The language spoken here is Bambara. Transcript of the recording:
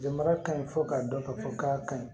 Jamana ka ɲi fo k'a dɔn k'a fɔ k'a ka ɲi